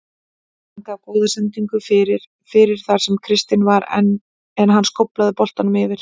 Hann gaf góða sendingu fyrir fyrir þar sem Kristinn var en hann skóflaði boltanum yfir.